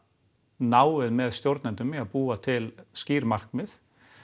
náið með stjórnendum í að búa til skýr markmið